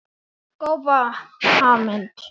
Fimm manna áhöfn sakaði ekki.